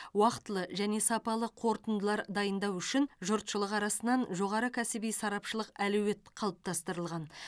уақтылы және сапалы қорытындылар дайындау үшін жұртшылық арасынан жоғары кәсіби сарапшылық әлеует қалыптастырылған